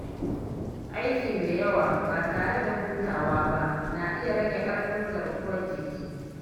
Aiki mai yawa ba tare da hutawa ba na iya rage ƙarfin garkuwar jiki.